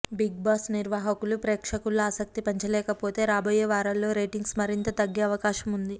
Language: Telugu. బిగ్ బాస్ నిర్వాహకులు ప్రేక్షకుల్లో ఆసక్తి పెంచలేకపోతే రాబోయే వారాల్లో రేటింగ్స్ మరింత తగ్గే అవకాశం ఉంది